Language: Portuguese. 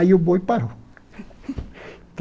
Aí o boi parou.